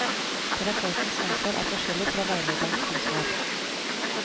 Terapeutens ansvar er forskjellig fra veilederens ansvar.